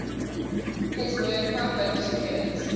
his word my hope secures